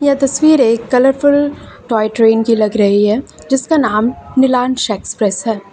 तस्वीर एक colourful toy train की लग रही है जिसका नाम नीलांश एक्सप्रेस है।